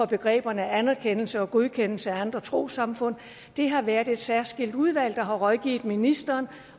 begreberne anerkendelse og godkendelse af andre trossamfund det har været et særskilt udvalg der har rådgivet ministeren